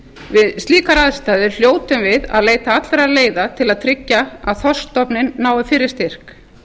við slíkar aðstæður hljótum við að leita allra leiða til að tryggja að þorskstofninn nái fyrri styrk